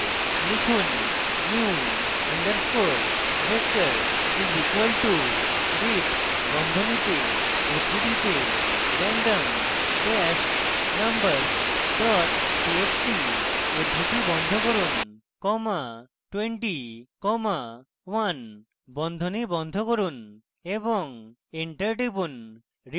লিখুন: new underscore vector is equal to read বন্ধনীতে উদ্ধৃতিতে random dash numbers dot txt উদ্ধৃতি বন্ধ করুন comma 20 comma 1 বন্ধনী বন্ধ করুন এবং enter টিপুন